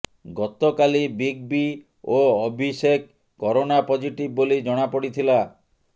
ଗତକାଲି big B ଓ Abhishek corona positive ବୋଲି ଜଣାପଡ଼ିଥିଲା